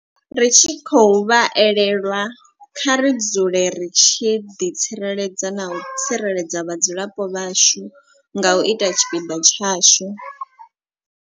Ri tshi khou vha elelwa, kha ri dzule ri tshi ḓi tsireledza na u tsireledza vhadzulapo vhashu nga u ita tshipiḓa tshashu.